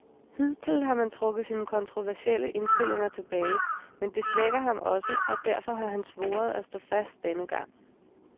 Hidtil har han trukket sine kontroversielle indstillinger tilbage, men det svækker ham også, og derfor har han svoret at stå fast denne gang.